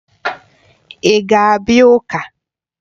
Ị ga-abịa ụka?